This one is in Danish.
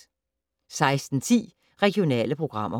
16:10: Regionale programmer